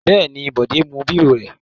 Bẹ́ẹ̀ ni, Bọ̀dé mú bírò rẹ̀.